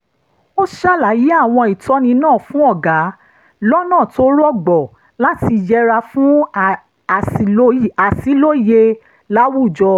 ó ṣàlàyé àwọn ìtọ́ni náà fún ọ̀gá lọ́nà tó rọgbọ láti yẹra fún àṣìlóye láwùjọ